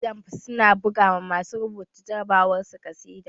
Jamb su na buga ma masu rubuta jarabawar su ƙasida